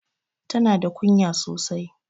Tana da kunya sosai.